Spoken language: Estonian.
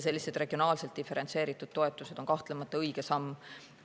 Sellised regionaalselt diferentseeritud toetused on kahtlemata õige samm.